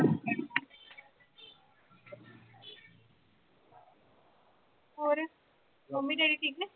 ਹੋਰ mummy daddy ਠੀਕ ਨੇ?